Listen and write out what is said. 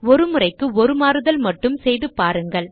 ஒரு முறைக்கு ஒரு மாறுதல் மட்டும் செய்து பாருங்கள்